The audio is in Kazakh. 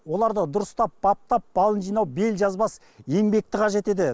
оларды дұрыстап баптап балын жинау бел жазбас еңбекті қажет етеді